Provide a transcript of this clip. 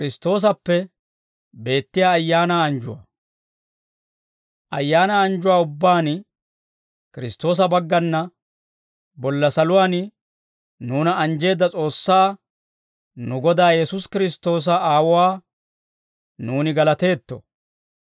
Ayaanaa anjjuwaa ubbaan Kiristtoosa baggana bolla saluwaan nuuna anjjeedda S'oossaa, nu Godaa Yesuusi Kiristtoosa Aawuwaa, nuuni galateetto.